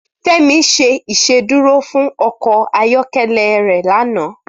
Femi ṣé Ìṣédùró fún ọkọ ayọkẹlẹ è lànã